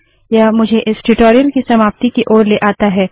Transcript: यह मुझे इस ट्यूटोरियल की समाप्ति की ओर लाता है